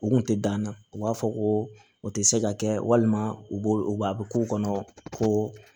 U kun tɛ dan na u b'a fɔ ko o tɛ se ka kɛ walima u b'o k'u kɔnɔ ko